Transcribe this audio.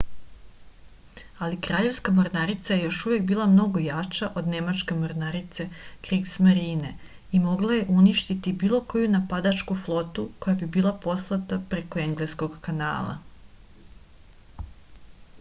али краљевска морнарица је још увек била много јача од немачке морнарице кригсмарине и могла је уништити било коју нападачку флоту која би била послата преко енглеског канала